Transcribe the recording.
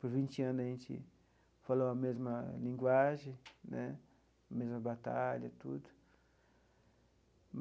Por vinte anos, a gente falou a mesma linguagem né, a mesma batalha, tudo.